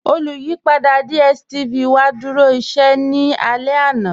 Olùyìpadà DStv wa dúró íṣẹ̀ ní ọ̀lá àná.